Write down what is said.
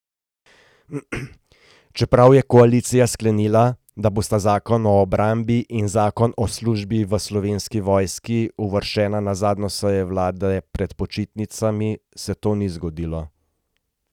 Čeprav je koalicija sklenila, da bosta zakon o obrambi in zakon o službi v Slovenski vojski uvrščena na zadnjo sejo vlade pred počitnicami, se to ni zgodilo.